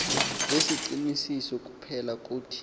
nesiqinisiso kuphela kuthi